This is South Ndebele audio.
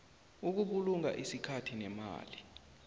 ukubulunga isikhathi nemali